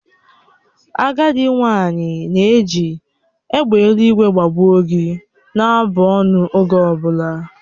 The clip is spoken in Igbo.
Agadị nwanyị na-eji "egbe eluigwe gbagbuo gi" na-abụ ọnụ oge ọ bụla